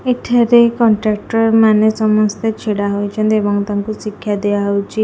ଏଠାରେ କଣ୍ଟ୍ରାକ୍ଚର ମାନେ ସମସ୍ତେ ଛିଡା ହୋଇଛନ୍ତି ଏବଂ ତାଙ୍କୁ ଶିକ୍ଷା ଦିଆହଉଛି ।